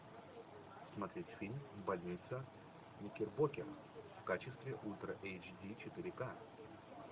смотреть фильм больница никербокер в качестве ультра эйч ди четыре ка